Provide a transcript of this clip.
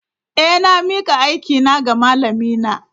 Eh, na mika aikina ga malamina.